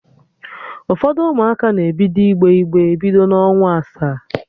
Ụfọdụ Ụmụaka na-ebido igbe igbe bido n'ọnwa asaa